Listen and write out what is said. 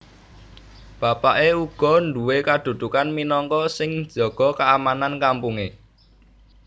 Bapaké uga nduwé kadudukan minangka sing njaga keamanan kampungé